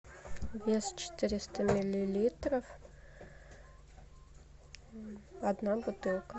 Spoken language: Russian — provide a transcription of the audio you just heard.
вес четыреста миллилитров одна бутылка